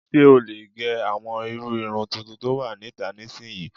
Ṣé o lè gẹ àwọn irú irun tuntun tó wà níta nísinyi?